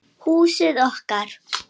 Húsið okkar.